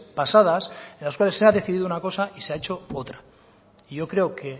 pasadas en las cuales se ha decidido una cosa y se ha hecho otra y yo creo que